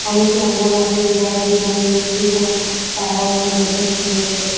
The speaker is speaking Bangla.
অনেকে এমন আছে যারা বিনা নিমন্ত্রিত তারাও চলে এসে খেয়ে গিয়েছে।